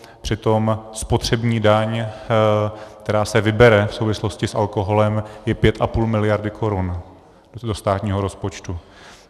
Přitom spotřební daň, která se vybere v souvislosti s alkoholem, je 5,5 miliardy korun do státního rozpočtu.